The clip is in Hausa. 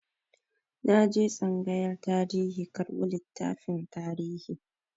Na je tsangayar tarihi karɓo littafin tarihi.